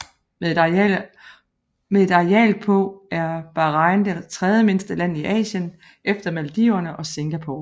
Med et areal på er Bahrain det tredje mindste land i Asien efter Maldiverne og Singapore